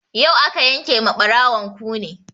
Yau aka yanke ma ɓarawon kune